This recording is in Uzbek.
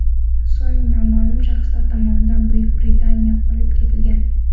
So‘ng noma’lum shaxslar tomonidan Buyuk Britaniyaga olib ketilgan.